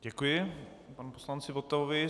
Děkuji panu poslanci Votavovi.